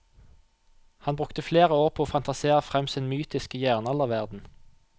Han brukte flere år på å fantasere frem sin mytiske jernalderverden.